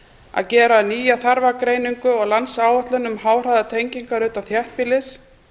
að gera nýja þarfagreiningu og landsáætlun um háhraðanettengingar utan þéttbýlis